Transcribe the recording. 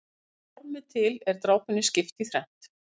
Að formi til er drápunni skipt í þrennt.